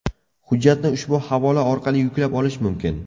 Hujjatni ushbu havola orqali yuklab olish mumkin.